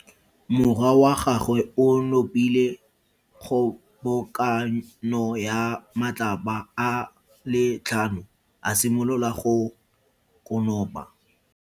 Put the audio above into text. Morwa wa gagwe o nopile kgobokano ya matlapa a le tlhano, a simolola go konopa.